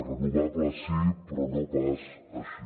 renovables sí però no pas així